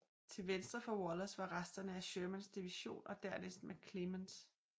Til venstre for Wallace var resterne af Shermans division og dernæst McClernands og W